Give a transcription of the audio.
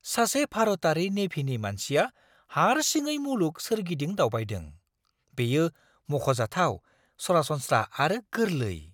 सासे भारतारि नेभिनि मानसिया हारसिङै मुलुग सोरगिदिं दावबायदों! बेयो मख'जाथाव, सरासनस्रा आरो गोरलै!